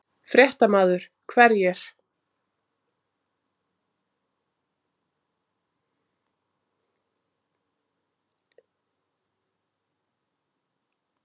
Grétar Már Þorkelsson: Varðandi?